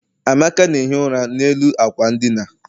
amaka na-ehi ụra n'elu ákwà ndina.